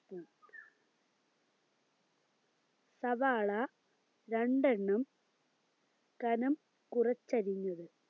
മ് സവാള രണ്ടെണ്ണം കനം കുറച്ചരിഞ്ഞത്